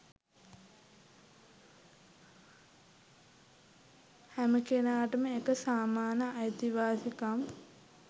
හෑම කෙනාටම එක සමාන අයිතිවාසිකම්